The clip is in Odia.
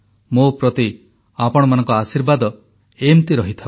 ମୋ ପ୍ରତି ଆପଣମାନଙ୍କ ଆଶୀର୍ବାଦ ଏମିତି ରହିଥାଉ